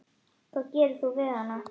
Hvað gerir þú við hana?